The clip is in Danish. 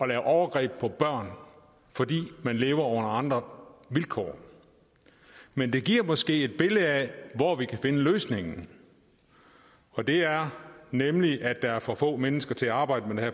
lave overgreb på børn fordi man lever under andre vilkår men det giver måske et billede af hvor vi kan finde løsningen og det er nemlig at der er for få mennesker til at arbejde med